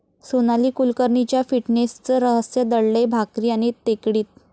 सोनाली कुलकर्णीच्या फिटनेसचं रहस्य दडलंय भाकरी आणि टेकडीत!